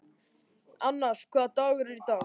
Annas, hvaða dagur er í dag?